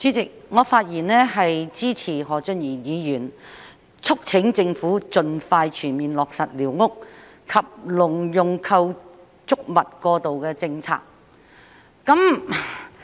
主席，我發言支持何俊賢議員促請政府盡快全面落實寮屋及農用構築物過渡政策。